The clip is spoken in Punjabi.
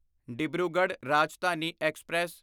ਡਿਬਰੂਗੜ੍ਹ ਰਾਜਧਾਨੀ ਐਕਸਪ੍ਰੈਸ